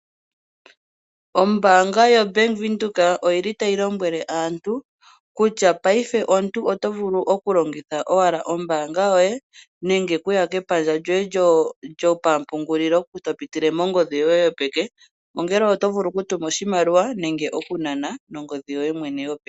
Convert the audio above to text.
Ombaanga yoBank Windhoek otayi lombwele aantu kutya paife omuntu oto vulu okulongitha owala ombaanga yoye nenge okuya kepandja lyopampugulilo lyoye topile mongodhi yoye yopeke ongele oto vulu okutuma nenge okunana oshimaliwa.